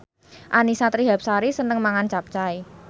Annisa Trihapsari seneng mangan capcay